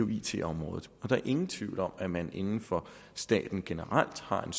it området der er ingen tvivl om at man inden for staten generelt har en